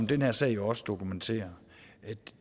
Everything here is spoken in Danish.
den her sag jo også dokumenterer